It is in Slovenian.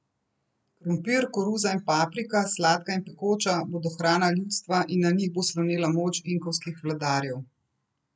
Krompir, koruza in paprika, sladka in pekoča, bodo hrana ljudstva in na njih bo slonela moč inkovskih vladarjev.